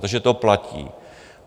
Takže to platí.